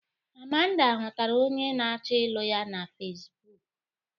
Amanda hụtara onye a na-achọ ịlụ ya na fesbụk.